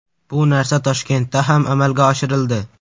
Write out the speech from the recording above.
Bu narsa Toshkentda ham amalga oshirildi.